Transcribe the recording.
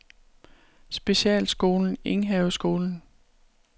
Specialskolen Enghaveskolen